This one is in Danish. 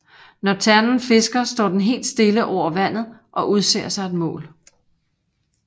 Når ternen fisker står den helt stille over vandet og udser sig et mål